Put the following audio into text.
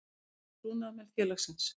Þjónusta við trúnaðarmenn félagsins.